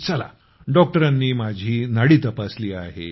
चला डॉक्टरांनी माझी नाडी तपासली आहे